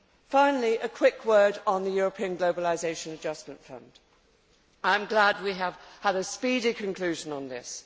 Finally, a quick word on the European Globalisation Adjustment Fund. I am glad we have had a speedy conclusion on this.